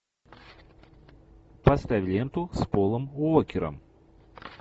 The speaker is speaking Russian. поставь ленту с полом уокером